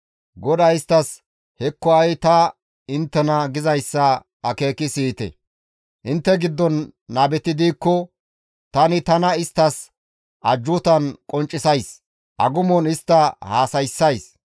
GODAY isttas, «Hekko ha7i ta inttena gizayssa akeeki siyite! «Intte giddon nabeti diikko, tani tana isttas ajjuutan qonccisays; agumon istta haasayssays.